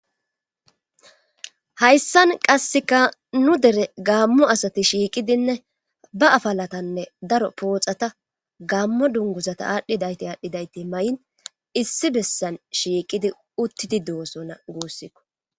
hayssan qasseka nu dere gaammo asati shiiqidinne ba afalatanne daro pooxata gaammo dunguzata aadhdhidayti aadhdhidayti may7in issi bessan shiiqidi uttidi doosona guussikko